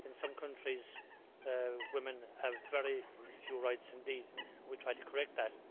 In some countries women have very few rights indeed, and we try to correct that.